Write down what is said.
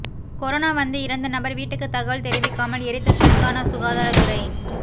corona வந்து இறந்த நபர் வீட்டுக்கு தகவல் தெரிவிக்காமல் எரித்த தெலுங்கானா சுகாதரத்துறை